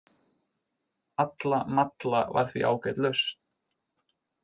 Alla malla var því ágæt lausn.